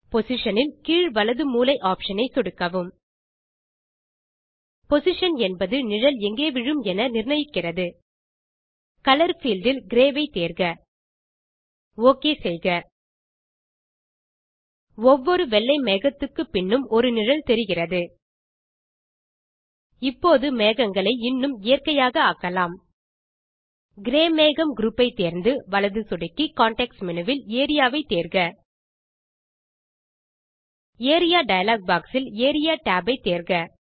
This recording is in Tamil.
Positionஇல் கீழ் வலது மூலை ஆப்ஷன் ஐ சொடுக்கவும் பொசிஷன் என்பது நிழல் எங்கே விழும் என நிர்ணயிக்கிறது கலர் பீல்ட் இல் கிரே ஐ தேர்க ஓகே செய்க ஒவ்வொரு வெள்ளை மேகத்துக்கு பின்னும் ஒரு நிழல் தெரிகிறது இப்போது மேகங்களை இன்னும் இயற்கையாக ஆக்கலாம் கிரே மேகம் குரூப் ஐ தேர்ந்து வலது சொடுக்கி கான்டெக்ஸ்ட் மேனு வில் ஏரியா வை தேர்க ஏரியா டயலாக் பாக்ஸ் இல் ஏரியா tab ஐ தேர்க